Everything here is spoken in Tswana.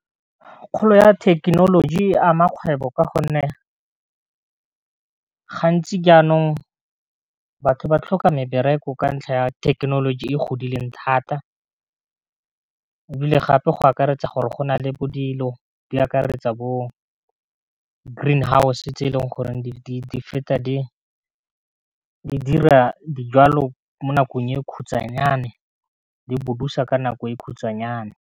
Kgolo ya thekenoloji e a mmakgwebo ka gonne gantsi jaanong batho ba tlhoka mebereko ka ntlha ya thekenoloji e godileng thata, e bile gape go akaretsa gore go nale bo dilo di akaretsa bo green house se tse e leng goreng di feta di dira dijwalo mo nakong e khutsanyane, di bodusa ka nako e khutsanyane.